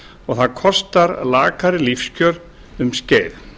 og það kostar lakari lífskjör um skeið